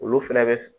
Olu fɛnɛ bɛ